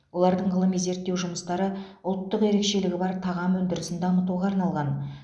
олардың ғылыми зерттеу жұмыстары ұлттық ерекшелігі бар тағам өндірісін дамытуға арналған